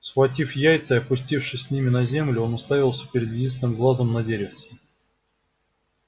схватив яйца и опустившись с ним на землю он уставился своим единственным глазом на деревце